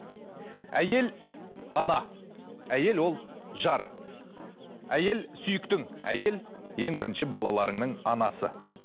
әйел ана әйел ол жар әйел сүйіктің әйел ең бірінші балаларыңның анасы